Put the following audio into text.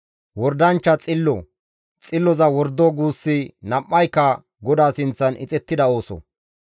Wordanchcha xillo xilloza wordo guussi nam7ayka GODAA sinththan ixettida ooso.